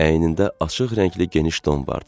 Əynində açıq rəngli geniş don vardı.